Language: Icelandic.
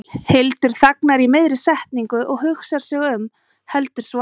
Hildur þagnar í miðri setningu og hugsar sig um, heldur svo áfram